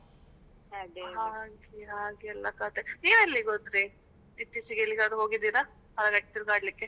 ಹಾಗೆ ಹಾಗೆಲ್ಲ ಕತೆ, ನೀವ್ ಎಲ್ಲಿಗೆ ಹೋದ್ರಿ? ಇತೀಚಿಗೆ ಎಲ್ಲಿಗಾದ್ರೂ ಹೋಗಿದ್ದೀರಾ? ಅಂದ್ರೆ ತಿರ್ಗಾಡಲಿಕ್ಕೆ?